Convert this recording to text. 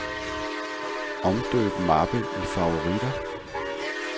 Omdøb mappe i favoritter.